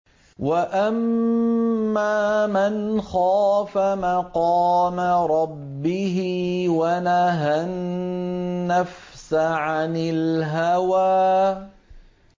وَأَمَّا مَنْ خَافَ مَقَامَ رَبِّهِ وَنَهَى النَّفْسَ عَنِ الْهَوَىٰ